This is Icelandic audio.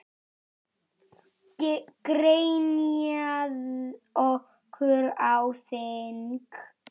Grenjað okkur á þing?